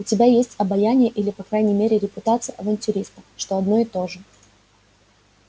у тебя есть обаяние или по крайней мере репутация авантюриста что одно и то же